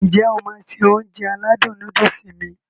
N jẹ́ o máá se Ounjẹ aládùn nóódùsì mi?